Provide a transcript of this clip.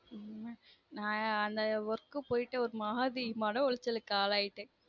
உம் என்ன நான் அந்த work உ போய்ட்டு ஒரு மாதிரி மன உளச்சலுக்கு ஆளாயிட்டேன்